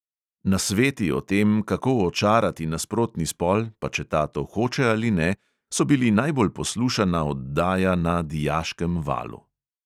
Nasveti o tem, kako očarati nasprotni spol, pa če ta to hoče ali ne, so bili najbolj poslušana oddaja na dijaškem valu.